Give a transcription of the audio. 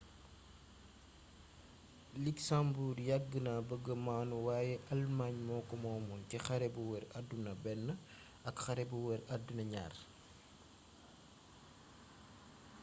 luxembourg yàgg na bëgga maanu wayé alëmaañ moko moomoon ci xare bu wër addina i ak xare bu wër addina ii